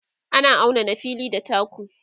ana auna na fili da taku